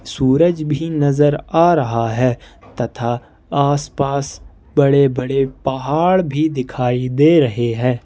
सूरज भी नजर आ रहा है तथा आसपास बड़े-बड़े पहाड़ भी दिखाई दे रहे है।